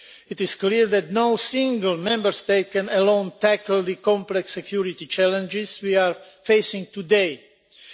It is clear that no single Member State can tackle the complex security challenges we are facing today alone.